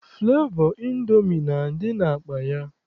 Flevọ Indomi na-adị n'akpa ya.